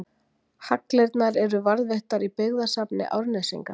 Hagldirnar eru varðveittar í Byggðasafni Árnesinga.